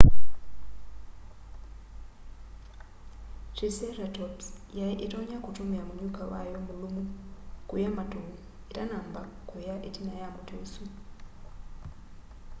triceratops yai itonya kutumia munyuka wayo mulumu kuya matu itanamba kuya itina ya muti usu